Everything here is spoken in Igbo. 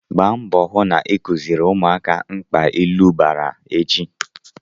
Gba mbọ hụ na ị kuziri ụmụaka mkpa ilu bara echi!